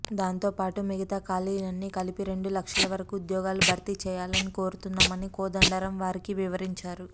దాంతోపాటు మిగతా ఖాళీలన్నీ కలిపి రెండు లక్షల వరకు ఉద్యోగాలు భర్తీ చేయాలని కోరుతున్నామని కోదండరాం వారికి వివరించారు